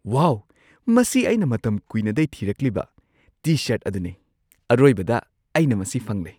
ꯋꯥꯎ! ꯃꯁꯤ ꯑꯩꯅ ꯃꯇꯝ ꯀꯨꯏꯅꯗꯩ ꯊꯤꯔꯛꯂꯤꯕ ꯇꯤ-ꯁꯔꯠ ꯑꯗꯨꯅꯦ꯫ ꯑꯔꯣꯏꯕꯗ, ꯑꯩꯅ ꯃꯁꯤ ꯐꯪꯂꯦ꯫